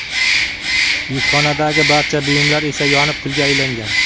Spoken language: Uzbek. Yukxonadagi barcha buyumlar esa yonib, kulga aylangan.